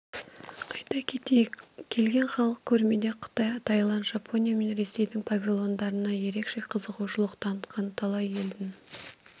айта кетейік келген халық көрмеде қытай тайланд жапония мен ресейдің павильондарына ерекше қызығушылық танытқан талай елдің